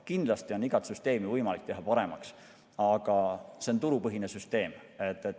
Kindlasti on igat süsteemi võimalik teha paremaks, aga see on turupõhine süsteem.